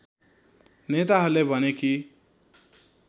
नेताहरूले भने कि